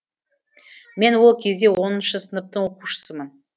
мен ол кезде оныншы сыныптың оқушысымын